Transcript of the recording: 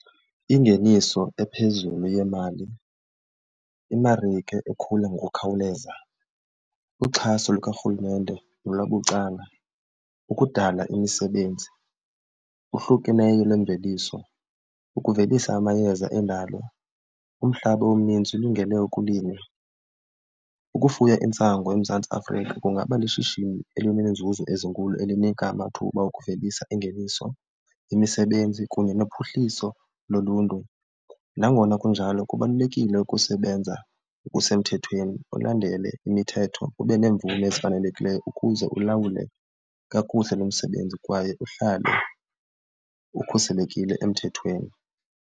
Ingeniso ephezulu yemali, imarike ekhula ngokukhawuleza, uxhaso lukarhulumente nolwabucala, ukudala imisebenzi okuhlukeneyo nemveliso, ukuvelisa amayeza endalo. Umhlaba omninzi ulungele ukulima, ukufuya intsangu eMzantsi Afrika kungaba lishishini elineenzuzo ezinkulu elinika amathuba okuvelisa ingeniso, imisebenzi kunye nophuhliso loluntu. Nangona kunjalo kubalulekile ukusebenza ngokusemthethweni, ulandele imithetho, ube nemvume ezifanelekileyo ukuze ulawule kakuhle lo msebenzi kwaye uhlale ukhuselekile emthethweni.